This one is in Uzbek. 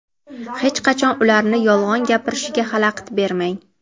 hech qachon ularni yolg‘on gapirishiga xalaqit bermang!.